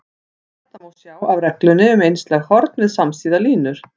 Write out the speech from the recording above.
Þetta má sjá af reglunni um einslæg horn við samsíða línur.